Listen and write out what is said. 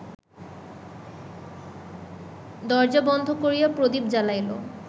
দরজা বন্ধ করিয়া প্রদীপ জ্বালাইল